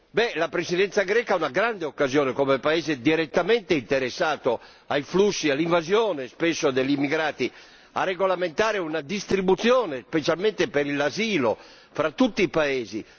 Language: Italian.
Beh, la Presidenza greca ha una grande occasione come paese direttamente interessato ai flussi, all'invasione, spesso, degli immigrati, a regolamentare una distribuzione, specialmente per l'asilo, fra tutti i paesi.